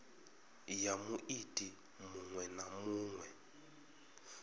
ya muiti muṅwe na muṅwe